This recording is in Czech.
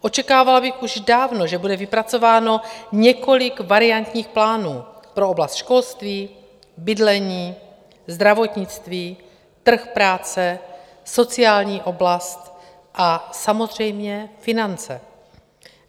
Očekávala bych už dávno, že bude vypracováno několik variantních plánů - pro oblast školství, bydlení, zdravotnictví, trh práce, sociální oblast a samozřejmě finance.